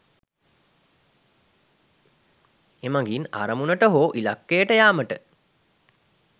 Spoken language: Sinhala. එමගින් අරමුණට හෝ ඉලක්කයට යාමට